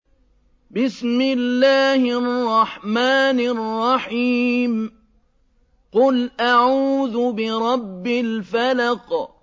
قُلْ أَعُوذُ بِرَبِّ الْفَلَقِ